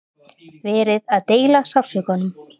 Verið að deila sársaukanum